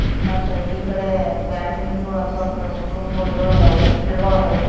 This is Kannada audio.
ಮತ್ತೆ ಈ ಕಡೆ ಪ್ಯಾಂಟಣಿಗಳ್ ಅಬ್ಬಕ್ಕ್ ರೂಮ್ಗಳು ಏಳ್ ಅದಾವು- ಗಿಡಗಳು ಅದಾವು.